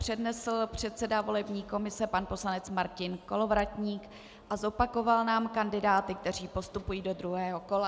přednesl předseda volební komise pan poslanec Martin Kolovratník a zopakoval nám kandidáty, kteří postupují do druhého kola.